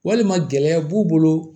Walima gɛlɛya b'u bolo